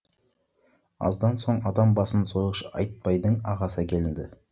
аздан соң адам басын сойғыш айтбайдың ағасы әкелінді